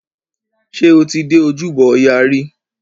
Ṣé o ti dé ojúbọ ọya rí?